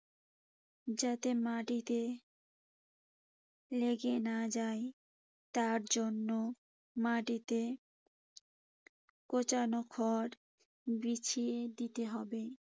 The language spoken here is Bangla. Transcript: যাতে মাটিতে লেগে না যায় তার জন্য মাটিতে কুচানো খড় বিছিয়ে দিতে হবে।